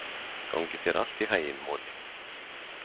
Gangi þér allt í haginn, Moli.